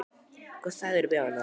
Hvað sagðirðu við hana?